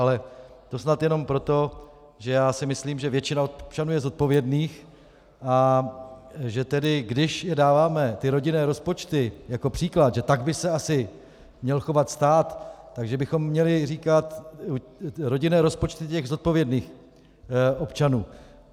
Ale to snad jenom proto, že já si myslím, že většina občanů je zodpovědných, a když dáváme ty rodinné rozpočty jako příklad, že tak by se asi měl chovat stát, tak že bychom měli říkat rodinné rozpočty těch zodpovědných občanů.